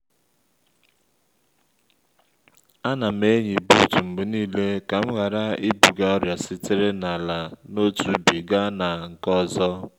a na m-eyi buut mgbe niile ka m ghara ibuga ọrịa sitere n’ala n’otu ubi gaa na nke ọzọ